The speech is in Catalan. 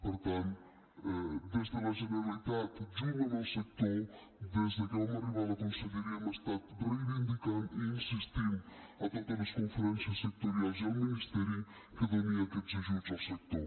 per tant des de la generalitat junt amb el sector des de que vam arribar a la conselleria hem estat reivindicant i insistint a totes les conferències sectorials i al ministeri que doni aquests ajuts al sector